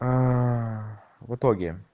а в итоге